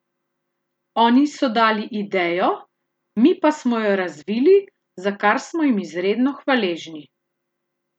Oni so dali idejo, mi pa smo jo razvili, za kar smo jim izredno hvaležni!